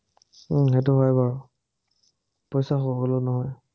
উম সেটো হয় বাৰু, পইচা সকলো নহয়।